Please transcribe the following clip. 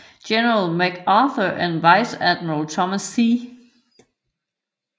General MacArthur og viceadmiral Thomas C